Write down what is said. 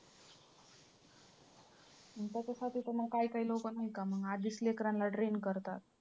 त्याच्यासाठी तर मंग काही काही लोकं नाही का मग आधीच लेकरांना train करतात.